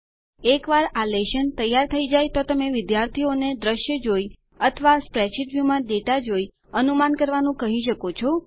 એકવાર આ લેશન તૈયાર થઇ જાય તો તમે વિદ્યાર્થીઓને દ્રશ્ય જોઈ અથવા સ્પ્રેડશીટ વ્યુમાં ડેટા જોઈ અનુમાન કરવાનું કહી શકો છો